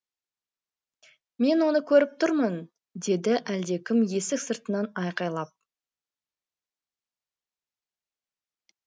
мен оны көріп тұрмын деді әлдекім есік сыртынан айқайлап